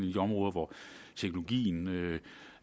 de områder hvor teknologien vil